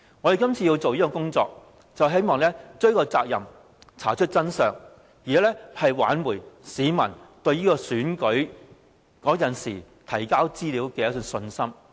我們要做這工作，是希望追究責任，查出真相，挽回市民就選舉當時所提交資料的信心。